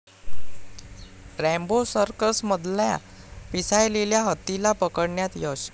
Rambo सर्कसमधल्या पिसाळलेल्या हत्तीला पकडण्यात यश